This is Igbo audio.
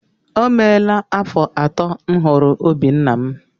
O meela afọ atọ m hụrụ obí nna m.